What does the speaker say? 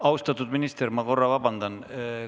Austatud minister, ma korra palun vabandust!